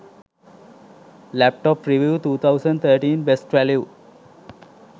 laptop reviews 2013 best value